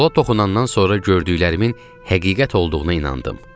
Stola toxunandan sonra gördüklərimin həqiqət olduğuna inandım.